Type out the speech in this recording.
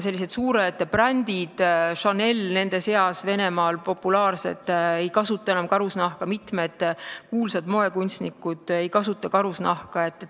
Sellised suured brändid, Chanel nende seas, mis on Venemaal populaarsed, ei kasuta enam karusnahka, mitmed kuulsad moekunstnikud ei kasuta karusnahka.